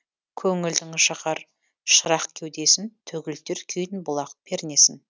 көңілдің жағар шырақ кеудесін төгілтер күйін бұлақ пернесін